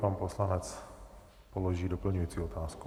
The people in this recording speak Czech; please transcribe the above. Pan poslanec položí doplňující otázku.